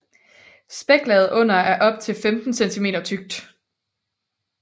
Spæklaget under er op til 15 cm tykt